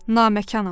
Namekanam.